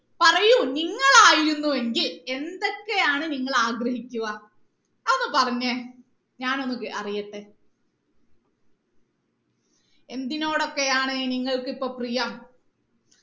പറയൂ നിങ്ങൾ ആയിരുന്നു എങ്കിൽ എന്തൊക്കെയാണ് നിങ്ങൾ ആഗ്രഹിക്കുക അതൊന്ന് പറഞ്ഞേ ഞാൻ ഒന്ന് കേ അറിയട്ടെ എന്തിനോടൊക്കെയാണ് നിങ്ങൾക്ക് ഇപ്പൊ പ്രിയം